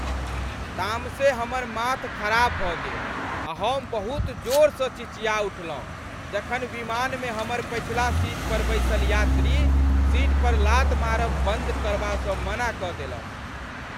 तामसे हमर माथ खराब भऽ गेल आ हम बहुत जोरसँ चिचिया उठलहुँ जखन विमानमे हमर पछिला सीट पर बैसल यात्री, सीट पर लात मारब बन्द करबासँ मना कऽ देलक।